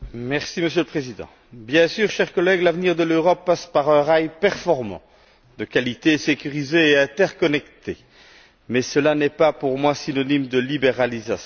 Monsieur le Président, chers collègues, l'avenir de l'Europe passe bien sûr par un rail performant, de qualité, sécurisé et interconnecté, mais cela n'est pas pour moi synonyme de libéralisation.